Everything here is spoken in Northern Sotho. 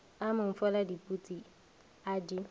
a mmofolla diputsi a di